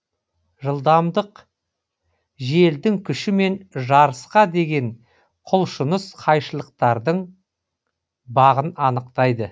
жылдамдық желдің күші мен жарысқа деген құлшыныс қайшылықтардың бағын анықтайды